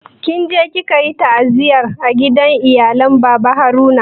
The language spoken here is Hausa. Kinje kikayi ta'aziyya a gidan iyalen baba Haruna kuwa?